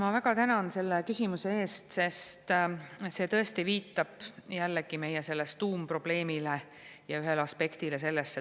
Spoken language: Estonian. Ma väga tänan selle küsimuse eest, sest see tõesti jällegi viitab tuumprobleemile ja selle ühele aspektile.